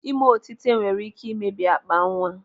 Ịme otite nwere ike ịmebi akpa nwa.